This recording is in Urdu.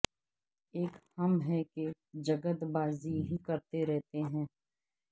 ایک ہم ہیں کہ جگت بازی ہی کرتے رہتے ہیں